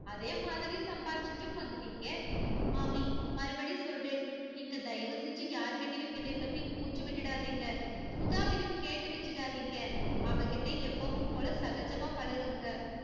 அதேமாதிரி சம்பாரிச்சுட்டும் வந்துட்டீங்க. மாமி மறுபடி சொல்றேன் நீங்க தயவு செஞ்சு யார்கிட்டேயும் இதை பத்தி மூச்சு விட்டுறாதீங்க. சுதாவையும் கேட்டு வச்சுடாதீங்க. அவகிட்ட எப்பவும் போல சகஜமா பழகுங்க.